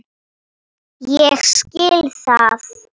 Ég skil það.